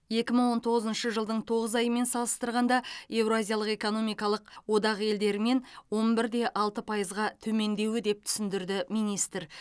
екі мың он тоғызыншы жылдың тоғыз айымен салыстырғанда еуразиялық экономикалық одақ елдерімен он бір де алты пайызға төмендеуі деп түсіндірді министр